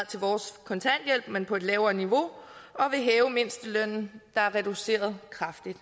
til vores kontanthjælp men på et lavere niveau og vil hæve mindstelønnen der er reduceret kraftigt